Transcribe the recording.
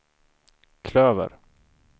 klöver